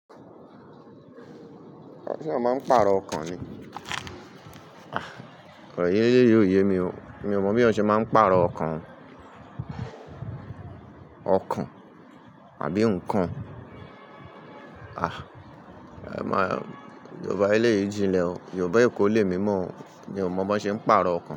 Shey eeyan máa ń pàrọ̀ ọkàn ni. Ah, kọ́ro yéyé yóò yé mi o, mi ò mọ̀ bí wọ́n ṣe máa ń pàrọ̀ ọkàn. Ọkàn àbí nǹkan? Ah, ẹ̀ má, Yorùbá eléyìí jinlẹ̀ o, Yorùbá Èkó lé mi mọ̀, mi ò mọ̀ bó ṣe ń pàrọ̀ ọkàn.